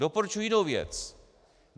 Doporučuji jinou věc.